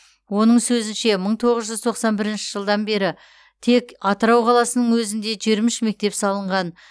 оның сөзінше мың тоғыз жүз тоқсан бірінші жылдан бері тек атырау қаласының өзінде жиырма үш мектеп салынған